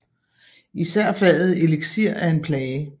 Især faget eliksir er en plage